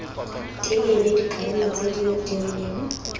telele dikarolo tse di rileng